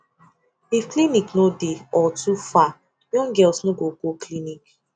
if clinic no dey or too far young girls no go go clinic